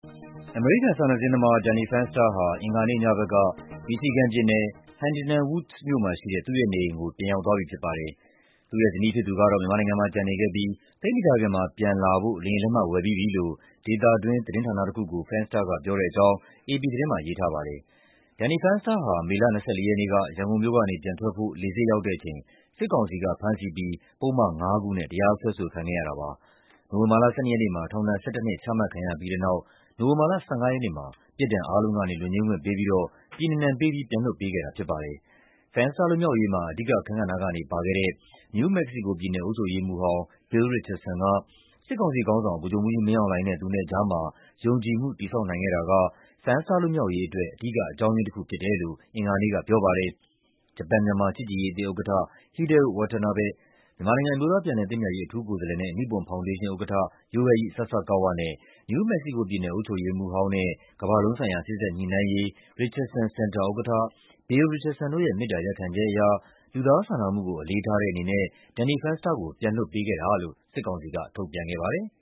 အမေရိကန် စာနယ်ဇင်းသမား Danny Fenster ဟာ အင်္ဂါနေ့ညဘက်က မီရှီဂန်ပြည်နယ်၊ Huntington Woods မြို့က သူ့ရဲ့နေအိမ်ကို ပြန်ရောက်သွားပြီဖြစ်ပါတယ်။ သူ့ရဲ့ဇနီးဖြစ်သူကတော့ မြန်မာနိုင်ငံမှာ ကျန်နေခဲ့ပြီး သိပ်မကြာခင်မှာ ပြန်လာဖို့ လေယာဉ်လက်မှတ် ဝယ်ပြီးပြီလို့ ဒေသတွင်းသတင်းဌာနတခုကို Fenster က ပြောတဲ့အကြောင်း အေပီသတင်းမှာ ရေးထားပါတယ်။ Danny Fenster ဟာ မေလ ၂၄ ရက်နေ့က ရန်ကုန်မြို့ကနေ ပြန်ထွက်ဖို့ လေဆိပ်ရောက်တဲ့အချိန် စစ်ကောင်စီက ဖမ်းဆီးပြီး ပုဒ်မ ၅ ခုနဲ့ တရားစွဲဆိုခံခဲ့ရတာပါ။ နိုဝင်ဘာလ ၁၂ ရက်နေ့မှာ ထောင်ဒဏ် ၁၁ နှစ် ချမှတ်ခံရပြီးတဲ့နောက် နိုဝင်ဘာလ ၁၅ ရက်နေ့မှာ ပြစ်ဒဏ်အားလုံးကနေ လွတ်ငြိမ်းခွင့်ပေးပြီးတော့ ပြည်နှင်ဒဏ်ပေးပြီး ပြန်လွှတ်ပေးခဲ့တာဖြစ်ပါတယ်။ Fenster လွတ်မြောက်ရေးမှာ အဓိကအခန်းကဏ္ဍကနေ ပါဝင်ခဲ့တဲ့ နယူးမက္ကဆီကိုပြည်နယ် အုပ်ချုပ်ရေးမှူးဟောင်း Bill Rihcardson က စစ်ကောင်စီခေါင်းဆောင် ဗိုလ်ချုပ်မှူးကြီးမင်းအောင်လှိုင်နဲ့ သူနဲ့ကြားမှာ ယုံကြည်မှု တည်ဆောက်နိုင်ခဲ့တာက Fenster လွတ်မြောက်ရေးအတွက် အဓိက အကြောင်းရင်း တခုဖြစ်တယ်လို့ အင်္ဂါနေ့ကပြောပါတယ်။ ဂျပန်-မြန်မာ ချစ်ကြည်ရေးအသင်းဥက္ကဋ္ဌ Hideo Watanabe၊ မြန်မာနိုင်ငံ အမျိုးသား ပြန်လည်သင့်မြတ်ရေး အထူးကိုယ်စားလှယ်နဲ့ နိပွန် ဖောင်ဒေးရှင်းဥက္ကဋ္ဌ Yohei Sasakawa နဲ့ နယူး မက္ကဆီကိုပြည်နယ် အုပ်ချုပ်ရေး မှူးဟောင်းနဲ့ ကမ ္ဘာလုံးဆိုင်ရာ စေ့စပ်ညှိနှိုင်းရေး Richardson Center ဥက္ကဋ္ဌ Bill Richardson တို့ရဲ့ မေတ္တာ ရပ်ခံချက်အရ လူသားစာနာမှုကို အလေးထားတဲ့အနေနဲ့ Danny Fenster ကို ပြန်လွှတ်ပေးခဲ့တာလို့ စစ်ကောင်စီက ထုတ်ပြန်ခဲ့ပါတယ်